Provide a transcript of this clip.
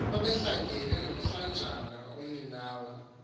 babehlangene nomlanjana umninawa